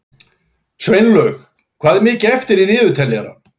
Sveinlaug, hvað er mikið eftir af niðurteljaranum?